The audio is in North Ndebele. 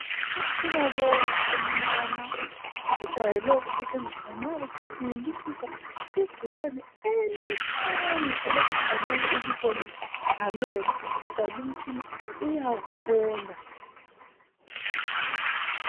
Umtshina lowu omnyama ujwayele ukusetshenziswa nxa kucubungulisiswa igcikwane elincane elokuthi angeke ulibone ngamehlo kodwa lumtshina uyakubona .